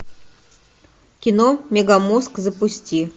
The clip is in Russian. кино мегамозг запусти